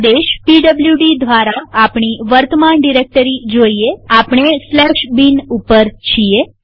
આદેશ પીડબ્લુડી દ્વારા આપણી વર્તમાન ડિરેક્ટરી જોઈએઆપણે bin ઉપર છીએ